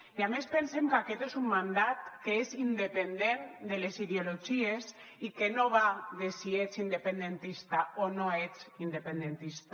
i a més pensem que aquest és un mandat que és independent de les ideologies i que no va de si ets independentista o no ets independentista